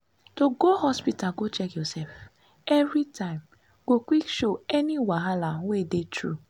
to dey go hospita go check your sef evey time go quick show any wahala wey dey tru